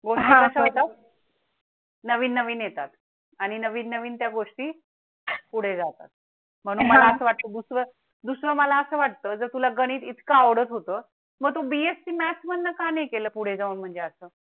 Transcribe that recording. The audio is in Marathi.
नवीन नवीन येतात आणि नवीन नवीन त्या गोष्टी पुढे जातात म्हणून मला असं वाटतं. दुसरं दुसरं मला वाटतं जर तुला गणित इतकं आवडत होतं मग BSC math मधून का नाही केला? पुढे जाऊन म्हणजे असं.